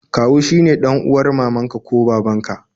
Kawu shi ne dan'uwar mamanka ko babanka